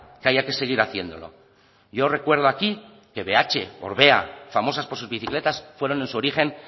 que haya que seguir haciéndolo yo recuerdo aquí que bh orbea famosas por sus bicicletas fueron en su origen